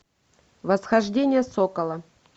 восхождение сокола